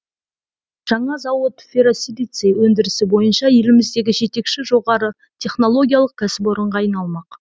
жаңа зауыт ферросилиций өндірісі бойынша еліміздегі жетекші жоғары технологиялық кәсіпорынға айналмақ